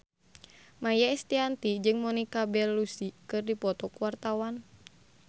Maia Estianty jeung Monica Belluci keur dipoto ku wartawan